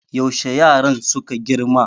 yaushe yaran suka girma